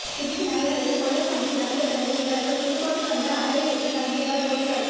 திருச்சி நகைக்கடையில் கொள்ளைச் சம்பவம் நடந்த பிறகு இவர்கள் புதுக்கோட்டை வந்து அறை எடுத்து தங்கியதால் போலீசாருக்கு